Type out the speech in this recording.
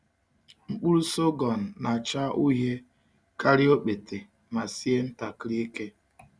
Mkpụrụ sọgọm na-acha uhie karịa okpete ma sie ntakịrị ike.